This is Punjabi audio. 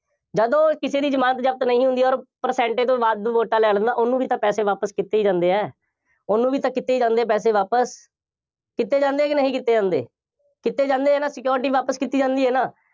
ਜਦੋਂ ਕਿਸੇ ਦੀ ਜ਼ਮਾਨਤ ਜ਼ਬਤ ਨਹੀਂ ਹੁੰਦੀ ਅੋਰ percentage ਤੋਂ ਵੱਧ ਵੋਟਾਂ ਲੈ ਲੈਂਦਾ, ਉਹਨੂੰ ਵੀ ਤਾਂ ਪੈਸੇ ਵਾਪਸ ਕੀਤੇ ਹੀ ਜਾਂਦੇ ਆ, ਉਹਨੂੰ ਵੀ ਤਾਂ ਕੀਤੇ ਜਾਂਦੇ ਪੈਸੇ ਵਾਪਸ, ਕੀਤੇ ਜਾਂਦੇ ਆ ਕਿ ਨਹੀਂ ਕੀਤੇ ਜਾਂਦੇ, ਕੀਤੇ ਜਾਂਦੇ ਹੈ ਨਾ, security ਵਾਪਸ ਕੀਤੀ ਜਾਂਦੀ ਹੈ ਨਾ,